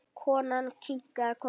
Konan kinkaði kolli.